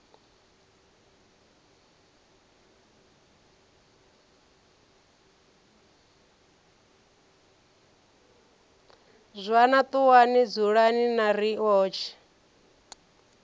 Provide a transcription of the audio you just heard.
zwana ṱuwani dzulani na riotshe